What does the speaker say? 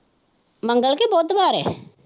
ਮੰਗਲ ਕੇ ਬੁੱਧਵਾਰ ਹੈ?